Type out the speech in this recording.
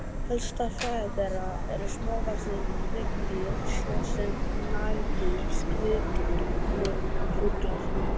Helsta fæða þeirra eru smávaxin hryggdýr svo sem nagdýr, skriðdýr og fuglar.